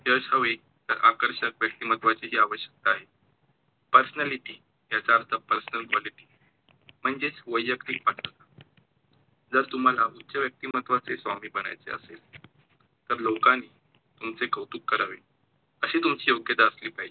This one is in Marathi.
Personality याचा अर्थ Personal quality म्हणजेच वैयत्तिक पात्रता, जर तुम्हाला उच्च व्यक्तिमत्वाचे स्वामी बनायचे असेल तर लोकांनी तुमचे कौतुक करावे, अशी तुमची योग्यता असली पाहिजे.